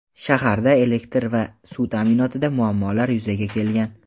Shaharda elektr va suv ta’minotida muammolar yuzaga kelgan.